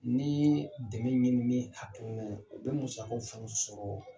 Ni dɛmɛ ɲinini hakilina ye, u bɛ musakaw fana sɔrɔ